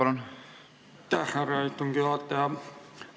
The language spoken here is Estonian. Aitäh, härra istungi juhataja!